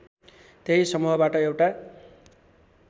त्यही समूहबाट एउटा